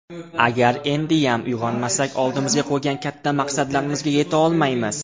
Agar endiyam uyg‘onmasak oldimizga qo‘ygan katta maqsadlarimizga yetolmaymiz.